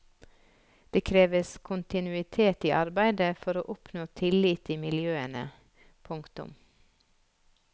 Det kreves kontinuitet i arbeidet for å oppnå tillit i miljøene. punktum